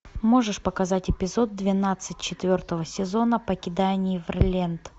можешь показать эпизод двенадцать четвертого сезона покидая неверленд